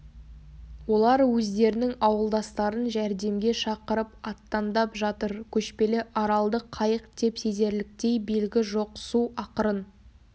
олар өздерінің ауылдастарын жәрдемге шақырып аттандап жатыр көшпелі аралды қайық деп сезерліктей белгі жоқ су ақырын